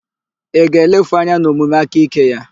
Ị ga-elefu anya n'omume aka ike ya?